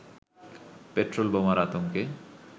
petrol বোমার আতঙ্কে